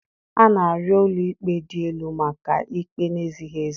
A na-arịọ ụlọ ikpe dị elu maka ikpe na-ezighị ezi